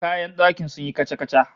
Kayan dakin sun yi kaca-kaca